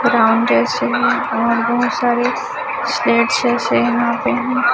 brown dress हैं ये और बहोत सारे वहाॅं पे--